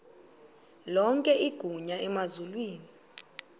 lonke igunya emazulwini